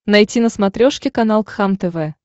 найти на смотрешке канал кхлм тв